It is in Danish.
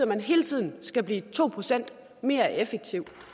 man hele tiden skal blive to procent mere effektiv